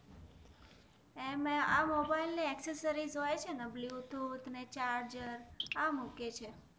અમે એ આ મોબાઇલ ની એસેસરિસ હોય છે ને બ્લૂટૂથ ને ચાર્જર આ મૂકે છે